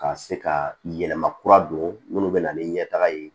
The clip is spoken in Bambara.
Ka se ka yɛlɛma kura don minnu bɛ na ni ɲɛtaga ye